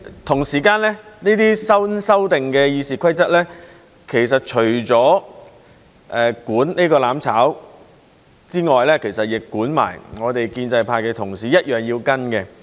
同時，這些新修訂的《議事規則》其實除了管"攬炒"之外，亦管我們建制派的同事，我們一樣要跟隨。